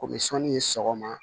Komi sɔnni ye sɔgɔma